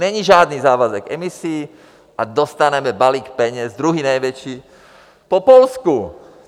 Není žádný závazek emisí a dostaneme balík peněz, druhý největší po Polsku.